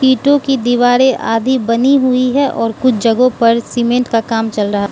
ईंटों की दीवारें आदि बनी हुई है और कुछ जगहों पर सीमेंट का काम चल रहा --